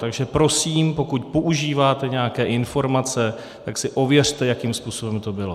Takže prosím, pokud používáte nějaké informace, tak si ověřte, jakým způsobem to bylo.